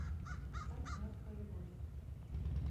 поставь мертвая любовь